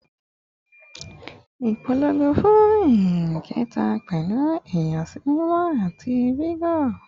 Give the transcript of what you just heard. Ipolongo fun nyin keta pẹlu ìyàsímímọ ati vigor